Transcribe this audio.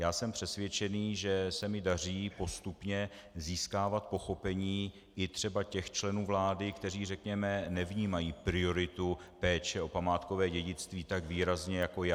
Já jsem přesvědčen, že se mi daří postupně získávat pochopení i třeba těch členů vlády, kteří řekněme nevnímají prioritu péče o památkové dědictví tak výrazně jako já.